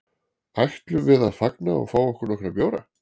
Ætlum við að fagna og fá okkur nokkra bjóra?